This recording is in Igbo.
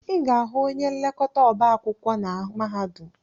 Ị ga-ahụ onye nlekọta ọba akwụkwọ na mahadum.